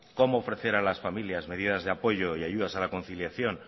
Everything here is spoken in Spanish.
como ofrecer a las familias medidas de apoyo y ayudas a la conciliación